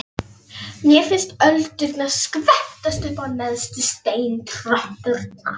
Mér finnst öldurnar skvettast upp á neðstu steintröppurnar.